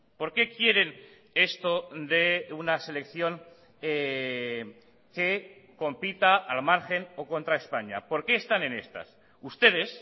por qué quieren esto de una selección que compita al margen o contra españa por qué están en estas ustedes